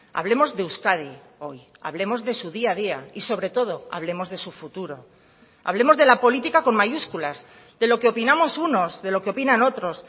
hablemos de euskadi hoy hablemos de su día a día y sobre todo hablemos de su futuro hablemos de la política con mayúsculas de lo que opinamos unos de lo que opinan otros